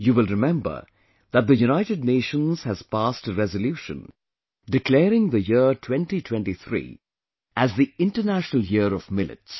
You will remember that the United Nations has passed a resolution declaring the year 2023 as the International Year of Millets